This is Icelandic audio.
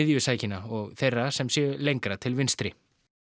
miðjusækinna og þeirra sem séu lengra til vinstri